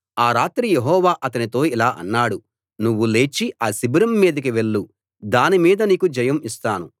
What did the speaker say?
ఆ రాత్రి యెహోవా అతనితో ఇలా అన్నాడు నువ్వు లేచి ఆ శిబిరం మీదికి వెళ్ళు దాని మీద నీకు జయం ఇస్తాను